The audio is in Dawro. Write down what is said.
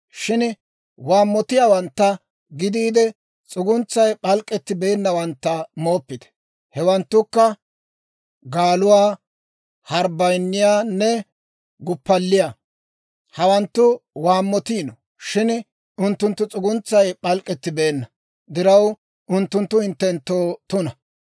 Shin waammotiyaawantta gidiide, s'uguntsay p'alk'k'ettibeennawantta mooppite; hewanttukka gaaluwaa, harbbayiniyaanne guppalliyaa. Hawanttu waammotiino; shin unttunttu s'uguntsay p'alk'k'ettibeenna diraw, unttunttu hinttenttoo tuna.